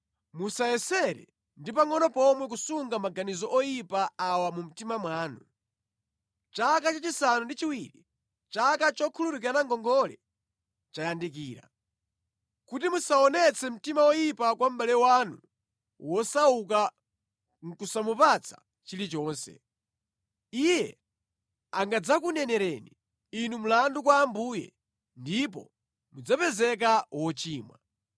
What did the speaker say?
Musayesere ndi pangʼono pomwe kusunga maganizo oyipa awa mu mtima mwanu: “Chaka chachisanu ndi chiwiri, chaka chokhululukirana ngongole, chayandikira,” kuti musaonetse mtima woyipa kwa mʼbale wanu wosauka nʼkusamupatsa chilichonse. Iye angadzakunenereni inu mlandu kwa Ambuye, ndipo mudzapezeka wochimwa.